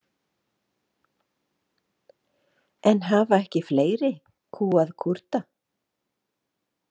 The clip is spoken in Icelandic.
En hafa ekki fleiri kúgað Kúrda?